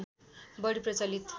बढी प्रचलित